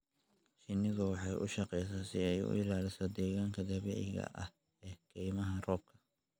Shinnidu waxay u shaqeysaa si ay u ilaaliso deegaanka dabiiciga ah ee kaymaha roobka.